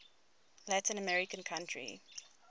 latin american country